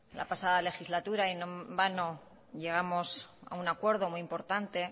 la pasada legislatura y no en vano llegamos a un acuerdo muy importante